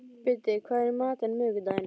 Biddi, hvað er í matinn á miðvikudaginn?